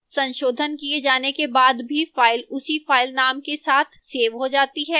संशोधन the जाने के बाद भी फ़ाइल उसी फ़ाइल नाम के साथ सेव हो जाती है